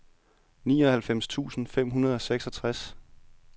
nioghalvfems tusind fem hundrede og seksogtres